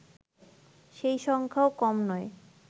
সেই সংখ্যাও কম নয়